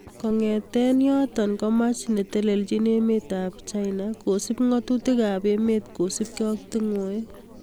Kongetkei yotok komach netelejin emet ab uchina kosub ngatutik ab emet kosubkei ak tungwek.